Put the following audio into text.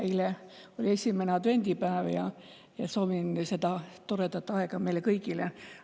Eile oli esimene advendipäev – soovin toredat aega meile kõigile!